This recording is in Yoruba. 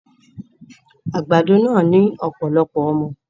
Àgbàdo náà ní ọ̀pọ̀lọpọ̀ ọmọ